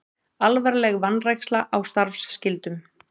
Alvarleg vanræksla á starfsskyldum